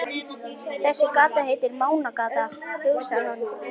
Þessi gata heitir Mánagata, hugsar hann.